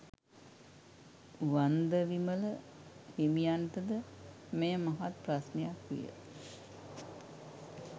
චන්දවිමල හිමියන්ට ද මෙය මහත් ප්‍රශ්නයක් විය